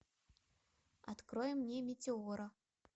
открой мне метеора